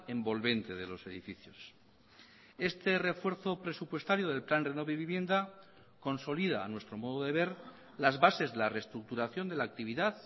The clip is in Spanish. envolvente de los edificios este refuerzo presupuestario del plan renove vivienda consolida a nuestro modo de ver las bases de la reestructuración de la actividad